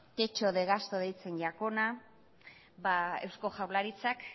techo de gasto deitzen zaiona eusko jaurlaritzak